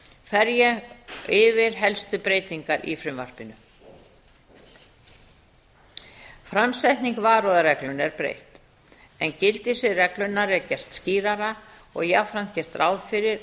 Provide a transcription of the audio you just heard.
ég yfir helstu breytingar í frumvarpinu framsetningu varúðarreglunnar er breytt en gildissvið reglunnar er gert skýrara og jafnframt gert ráð fyrir